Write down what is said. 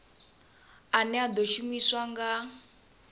ane a ḓo shumiswa nga